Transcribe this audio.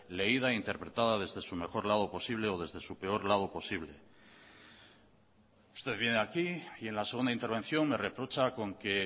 leída interpretada desde su mejor lado posible o desde su peor lado posible usted viene aquí y en la segunda intervención me reprocha con que